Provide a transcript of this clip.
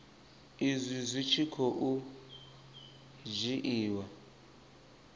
izwi zwi tshi khou dzhiiwa